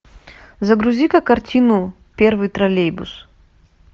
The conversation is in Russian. загрузи ка картину первый троллейбус